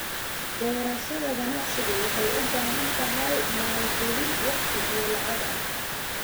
Beerashada ganacsigu waxay u baahan tahay maalgelin waqti iyo lacag ah.